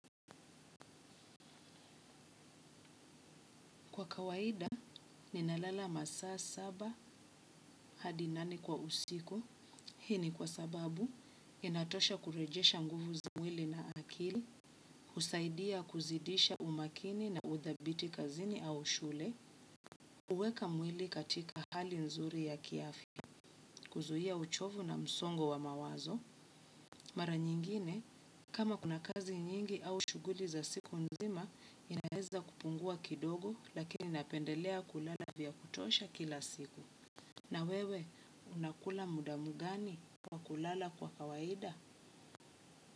Kwa kawaida, ninalala masaa saba hadi nane kwa usiku. Hii ni kwa sababu, inatosha kurejesha nguvu za mwili na akili, husaidia kuzidisha umakini na udhabiti kazini au shule, huweka mwili katika hali nzuri ya kiafya, kuzuia uchovu na msongo wa mawazo. Mara nyingine, kama kuna kazi nyingi au shughuli za siku nzima, inaeza kupungua kidogo lakini napendelea kulala vya kutosha kila siku. Na wewe unakula muda gani kwa kulala kwa kawaida?